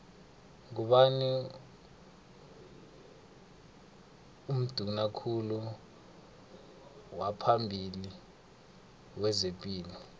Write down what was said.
ngubani unduna kulu waphambili wezepilo